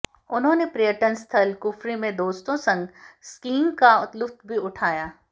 उन्होंने पर्यटन स्थल कुफरी में दोस्तों संग स्कीइंग का लुत्फ भी उठाया